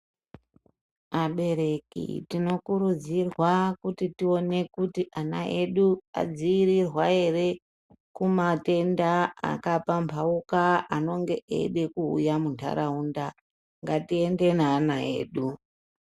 Abereki tinokurudzirwa kuti tione kuti ana edu adziirirwa ere kumatenda akapamhauka anonga eida kuuya munharaunda ngatiende neana edu.